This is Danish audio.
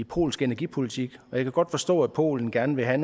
polske energipolitik og jeg kan godt forstå at polen gerne vil have